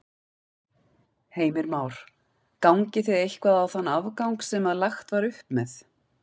Heimir Már: Gangið þið eitthvað á þann afgang sem að lagt var upp með?